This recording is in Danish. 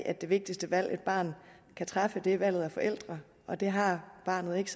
at det vigtigste valg et barn kan træffe i dag er valget er forældre og der har barnet ikke